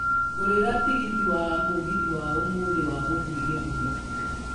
ngũrĩra tigiti wa mũgithi wa ũmũthĩ wa gũthiĩ githumo